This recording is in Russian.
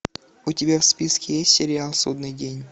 у тебя в списке есть сериал судный день